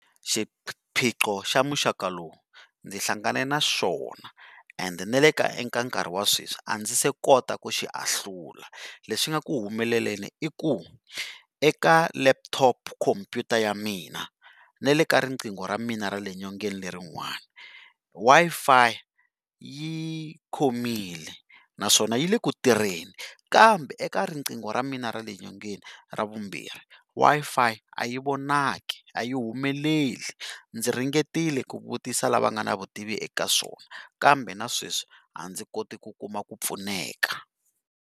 Xiphiqo xa muxaka lowu ndzi hlangane na xona and na le ka eka nkarhi wa sweswi a ndzi se kota ku xi ahlula lexi nga ku humeleleni i ku, eka laptop khompyuta ya mina na le ka riqingho ra mina ra le nyongeni lerin'wani Wi-Fi yi khomile naswona yi le ku tirheni, kambe eka riqingho ra mina ra le nyongeni ra vumbirhi Wi-Fi a yi vonaki a yi humeleli ndzi ringetile ku vutisa lava nga na vutivi eka swona, kambe na sweswi a ndzi koti ku kuma ku pfuneka.